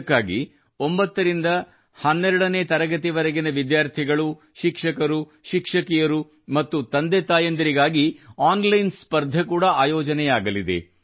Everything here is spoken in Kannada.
ಇದಕ್ಕಾಗಿ 9 ರಿಂದ 12 ನೇ ತರಗತಿಯವರೆಗಿನ ವಿದ್ಯಾರ್ಥಿಗಳು ಶಿಕ್ಷಕರು ಶಿಕ್ಷಕಿಯರು ಮತ್ತು ತಂದೆತಾಯಿಯರಿಗಾಗಿ ಆನ್ಲೈನ್ ಸ್ಪರ್ಧೆ ಕೂಡಾ ಆಯೋಜನೆಯಾಗಲಿದೆ